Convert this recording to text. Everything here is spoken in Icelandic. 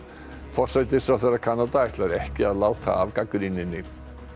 forsætisráðherra Kanada ætlar ekki að láta af gagnrýninni